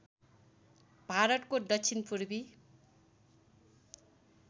भारतको दक्षिण पूर्वी